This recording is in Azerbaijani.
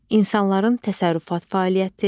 İnsanların təsərrüfat fəaliyyəti.